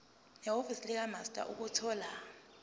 nehhovisi likamaster ukuthola